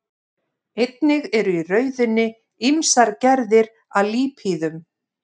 Einnig eru í rauðunni ýmsar gerðir af lípíðum.